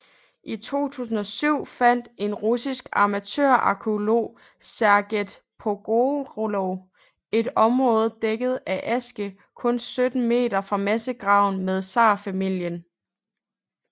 I 2007 fandt en russisk amatørarkæolog Sergej Pogorelov et område dækket af aske kun 70 m fra massegraven med zarfamilien